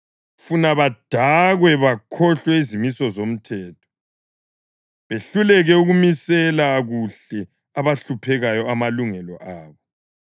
funa badakwe bakhohlwe izimiso zomthetho, behluleke ukumisela kuhle abahluphekayo amalungelo abo.